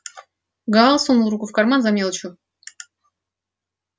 гаал сунул руку в карман за мелочью